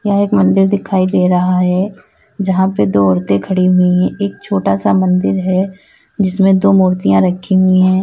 यह एक मंदिर दिखाई दे रहा है जहां पर दो औरतें खड़ी हुई है एक छोटा सा मंदिर है जिसमें दो मूर्तियां रखी है।